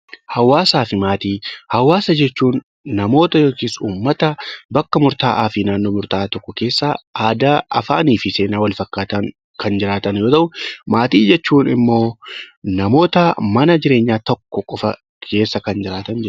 Hawaasaa fi maatii , hawaasa jechuun namoota yookiis uummata bakka murta'aa fi naannoo murta'aa tokko keessaa aadaa, afaanii fi seenaa Wal fakkaatan Kan jiraatan yoo tahu. Maatii jechuun immoo namoota mana jireenyaa tokko qofa keessa Kan jiraatan jechuudha.